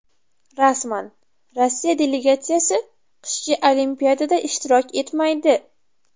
Rasman: Rossiya delegatsiyasi qishki Olimpiadada ishtirok etmaydi.